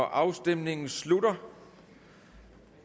afstemningen slutter